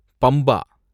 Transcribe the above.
Pamba